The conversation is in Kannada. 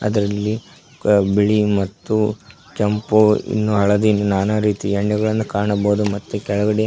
ಇದರಲ್ಲಿ ಅ ಬಿಳಿ ಮತ್ತು ಕೆಂಪು ಇನ್ನೂ ಹಳದಿ ನಾನಾ ರೀತಿ ಎಣ್ಣೆಗಳನ್ನು ಕಾಣಬಹುದು ಮತ್ತು ಕೆಳಗಡೆ --